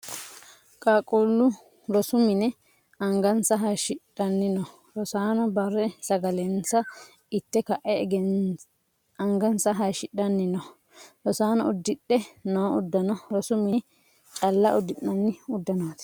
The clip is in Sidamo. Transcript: Qaaquulu rosu mine angansa hayishidhanni no. Rosaano bari sagalensa ite ka'e angansa hayishidhanni no. Rosaano udidhe noo udanno rosu minne calla udi'nanni udanooti.